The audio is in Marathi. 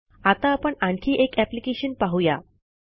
आता आपण आणखी एक अप्लिकेशन पाहू या